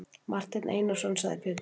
Marteinn Einarsson, sagði Pétur.